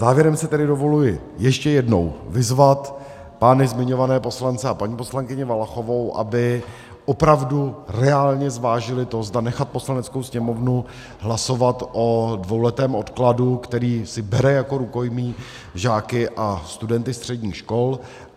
Závěrem si tedy dovoluji ještě jednou vyzvat pány zmiňované poslance a paní poslankyni Valachovou, aby opravdu reálně zvážili to, zda nechat Poslaneckou sněmovnu hlasovat o dvouletém odkladu, který si bere jako rukojmí žáky a studenty středních škol.